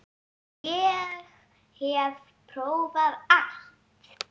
Ég hef prófað allt!